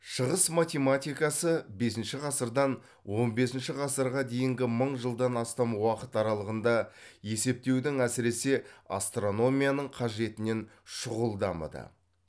шығыс математикасы бесінші ғасырдан он бесінші ғасырға дейінгі мың жылдан астам уақыт аралығында есептеудің әсіресе астрономияның қажетінен шұғыл дамыды